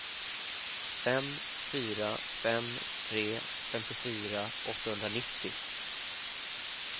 fem fyra fem tre femtiofyra åttahundranittio